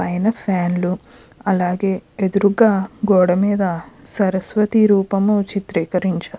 పైన ఫ్యాన్ లు అలాగే ఎదురుగా గోడ మీద సరస్వతి రూపం చిత్రీకరించారు.